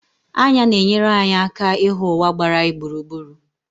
Anya na-enyere anyị aka ịhụ ụwa gbara anyị gburugburu.